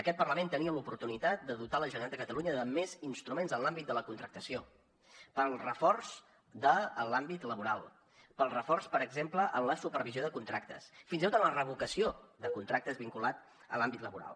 aquest parlament tenia l’oportunitat de dotar la generalitat de catalunya de més instruments en l’àmbit de la contractació per al reforç de l’àmbit laboral per al reforç per exemple en la supervisió de contractes fins i tot en la revocació de contractes vinculats a l’àmbit laboral